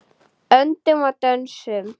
Öndum og dönsum.